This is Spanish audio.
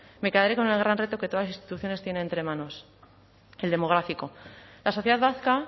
me quedaré con el gran reto que todas las instituciones tienen entre manos el demográfico la sociedad vasca